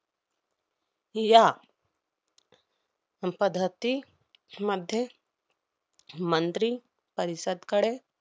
या मध्ये मंत्री परिषदकडे